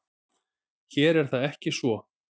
Hér er það ekki svo.